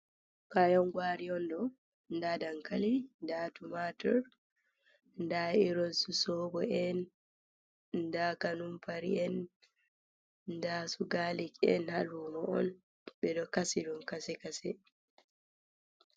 Kayan gwari on do. Nda dankali, nda tumatir, nda irin su soɓo en, nda kanumpari en, nda su garlic en, ha lumo on. ɓeɗo kasi ɗum kase-kase.